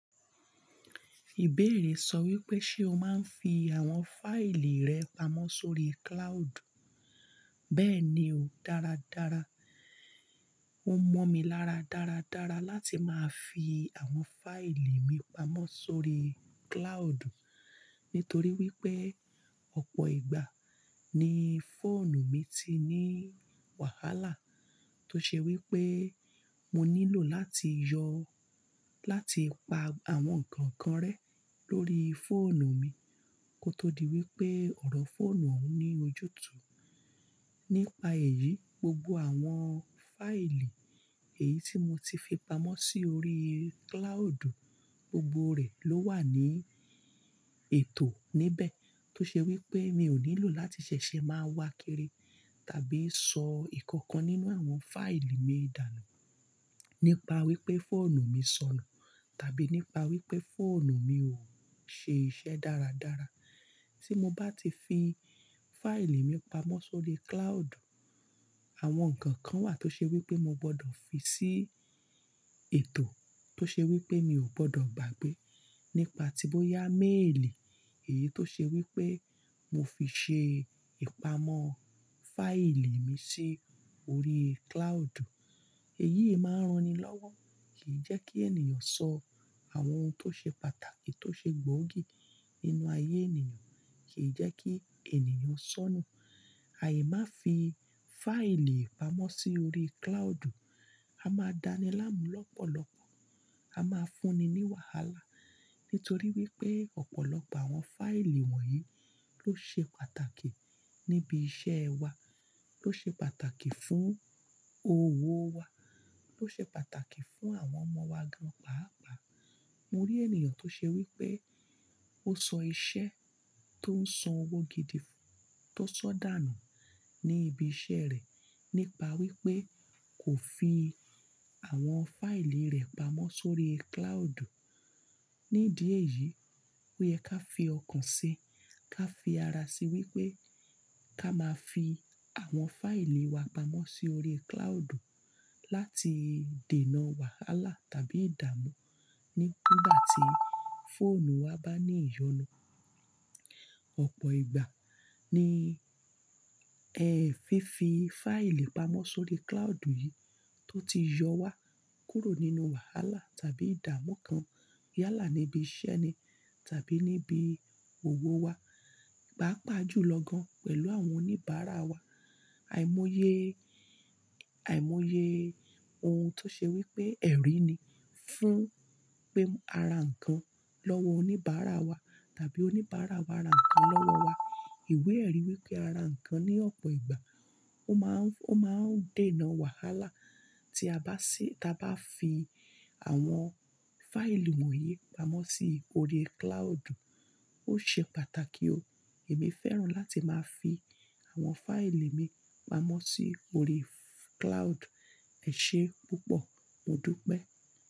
Ìbéèrè sọ wípé ṣe o máa ń fi àwọn fáìlì rẹ pamọ́ sórí cloud? Bẹ́ẹ̀ni o, dáradára, ó mọ́ mi lára dára dára láti máa fi àwọn fáìlì mi pamọ́ sórí cloud. Nítorí wípé, ọ̀pọ̀ ìgbà ni fóònù mi ti ní wàhálà tó ṣe wípé mo nílò láti yọ, láti pa àwọn ǹkan kan rẹ lórí fóònù mi kó tó di wípé ọ̀rọ̀ fóònù òún ní ojútùú. Nípa èyí, gbogbo àwọn fáìlì èyí tí mo ti fi pamọ́ si órí cloud, gbogbo rẹ̀ ló wà ní ètò níbẹ̀ tó ṣe wípé mi ò nílò láti ṣẹ̀ṣẹ̀ máa wakiri tàbí sọ ìkankan nínú àwọn fáìlì mi dànù. Nípa wípé fóònù mi sọnù tàbí nípa wípé fóònù mi ò ń ṣe iṣẹ́ dáradára. Tí mo bá ti fi fáìlì mi pamọ́ sórí cloud, àwọn ǹkan kan wà tó ṣe wípé mo gbọdọ̀ fi sí ètò tó ṣe wípé mi ò gbọdọ̀ gbàgbé. Nípa tí bóyá méèlì èyí tó ṣe wípé mo fi ṣe ìpamọ́ fáìlì mi sí orí cloud. Èyí máa ń ran ni lọ́wọ́, kì í jẹ́ kí ènìyàn sọ àwọn ohun tó ṣe pàtàkì tó ṣe gbóògì nínú ayé ènìyàn nu, kì í jẹ́ kí ènìyàn sọnù. Aì má fi fáìlì pamọ́ si órí cloud, a máa dáni láàmú lọ́pọ̀lọpọ̀, a máa fúnni ní wàhálà. Nítorí wípé ọ̀pọ̀lọpọ̀ àwọn fáìlì wọ̀nyí ló ṣe pàtàkì níbi iṣẹ́ wa, ló ṣe pàtàkì fún òwò wa, ló ṣe pàtàkì fún àwọn ọmọ wa gan pàápàá. Mo rí ènìyàn tó ṣe wípé ó sọ iṣẹ́ tó ń san owó gidi tó sọ dànù ní ibi iṣẹ́ rẹ̀ nípa wípé kò fi àwọn fáìlì rẹ̀ pamọ́ sórí cloud. Nídi èyí, oyẹ ká fi ọkàn ṣi, ká fi ara ṣe wípé ká máa fi àwọn fáìlì wa pamọ́ si órí cloud láti dènà wàhálà tàbí ìdàmú nígbà tí fóònù wa bá ní ìyọnu. Ọ̀pọ̀ ìgbà ni ẹ fi fi fáìlì pamọ́ sórí cloud yìí tó ti yọ wá kúrò nínú wàhálà tàbí ìdàmú kan yálà níbi iṣẹ́ ni, tàbí níbi òwò wa, pàápàá jù lọ gan pẹ̀lú àwọn oníbàárà wa, àìmọye, àìmọye ohun tó ṣe wípé ẹ̀rí ni fún pé ara ǹkan lọ́wọ́ oníbàárà wa tàbí oníbàárà wa ra ǹkan lọ́wọ́ wa. Ìwé ẹ̀rí wípé ara ǹkan ní ọ̀pọ̀ ìgbà ó máa ń, ó máa ń dènà wàhálà tí a bá ṣi, tí a bá fi àwọn fáìlì wọ̀nyí pamọ́ si órí cloud. Ó ṣe pàtàkì o, èmi fẹ́ràn láti máa fi àwọn fáìlì mi pamọ́ si órí cloud ẹ̀ ṣe púpọ̀, mo dúpẹ́.